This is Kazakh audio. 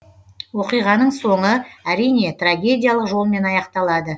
оқиғаның соңы әрине трагедиялық жолмен аяқталады